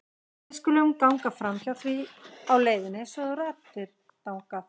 Við skulum ganga framhjá því á leiðinni svo þú ratir þangað.